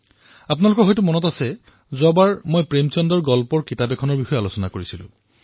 আপোনালোকৰ বোধহয় মনত আছে যোৱা খণ্ডত মই প্ৰেমচন্দজীৰ চুটি গল্পৰ সংগ্ৰহৰ বিষয়ে অৱতাৰণা কৰিছিলো